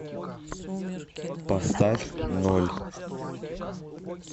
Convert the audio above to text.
поставь ноль